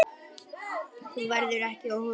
Þú verður ekki óhult á götunum.